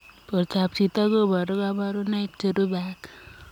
Portoop chitoo kobaruu kabarunaik cherubei ak